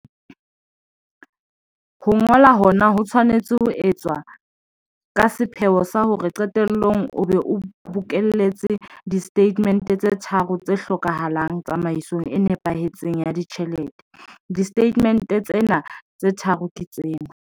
Ho ngola hona ho tshwanetse ho etswa ka sepheo sa hore qetellong o be o bokelletse distatemente tse tharo tse hlokahalang tsamaisong e nepahetseng ya ditjhelete. Disetatemente tsena tse tharo ke tsena.